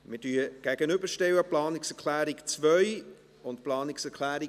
Wir stellen nun die Planungserklärungen 2 und 4 einander gegenüber.